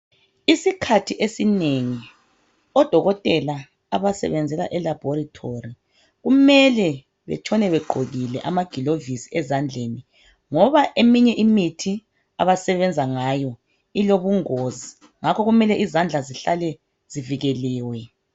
Isikhathi esinengi odokotela abasebenzela elabhorathori kumele batshone begqokile amagilovisi ezandleni ngoba eminye imithi abasebenza ngayo ilobungozi ngakho kumele izandla zihlale azivikeliwe.